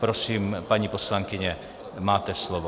Prosím, paní poslankyně, máte slovo.